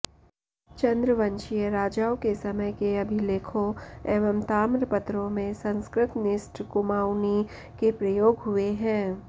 चंद्रवशीय राजाओं के समय के अभिलेखों एवं ताम्रपत्रों में संस्कृतनिष्ठ कुमाऊँनी के प्रयोग हुए हैं